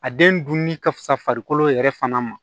A den dun ni ka fisa farikolo yɛrɛ fana ma